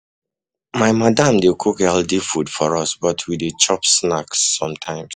My madam dey cook healthy food for us, but we dey chop snacks sometimes.